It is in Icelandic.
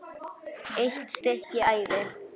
EITT STYKKI ÆVI